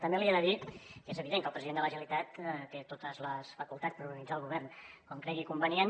també li he de dir que és evident que el president de la generalitat té totes les facultats per organitzar el govern com cregui convenient